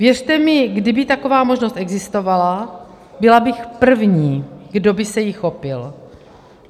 Věřte mi, kdyby taková možnost existovala, byla bych první, kdo by se jí chopil.